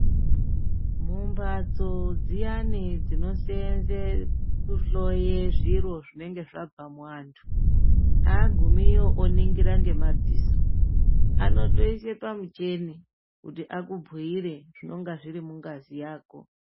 Mumhatso dziyani dzinoseenze kuhloya zviro zvinenge zvabve muantu, aagumiyo oningira ngemadziso, anotoise pamucheni kuti akubhuire zvinenge zvirimungazi yako.